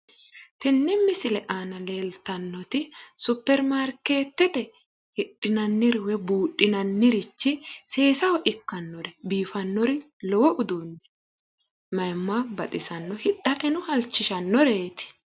Tenne misile aana leeltannoti suppermaarkeetete hidhinanniro woy buudhinanniri seesaho ikkannori biifannori lowo uduunni mayiimma baxisanno, hidhateno halchishannoreeti